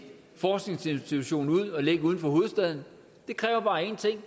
forskningsinstitution ud så ligger uden for hovedstaden det kræver bare én ting